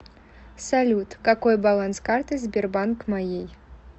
салют какой баланс карты сбербанк моей